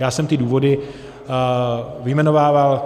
Já jsem ty důvody vyjmenovával.